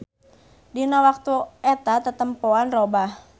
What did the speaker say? Dina waktu eta tetempoan robah.